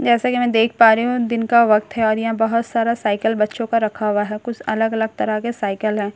जैसा कि मैं देख पा रही हूं यह दिन का वक्‍त है और यहां बहुत सारा साइकल बच्‍चों का रक्‍खा हुआ है कुछ अलग-अलग तरह के साइकिल है एक साइकल --